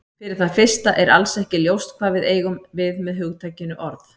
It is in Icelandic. Fyrir það fyrsta er alls ekki ljóst hvað við eigum við með hugtakinu orð.